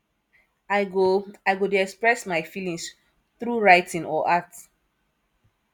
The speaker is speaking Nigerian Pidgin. i go i go dey express my feelings through writing or art